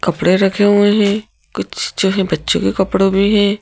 कपड़े रखे हुए हैं कुछ जो है बच्चों के कपड़े भी है।